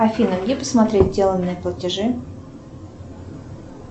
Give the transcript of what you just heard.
афина где посмотреть сделанные платежи